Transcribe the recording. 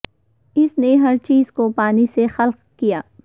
اس نے ہر چیز کو پانی سے خلق کیا